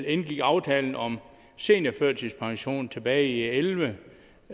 indgik aftalen om seniorførtidspension tilbage i og elleve